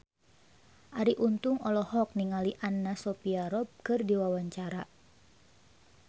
Arie Untung olohok ningali Anna Sophia Robb keur diwawancara